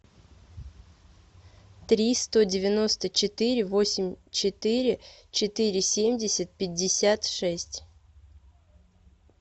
три сто девяносто четыре восемь четыре четыре семьдесят пятьдесят шесть